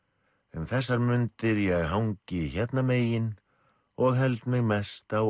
um þessar mundir ég hangi hérna megin og held mig mest á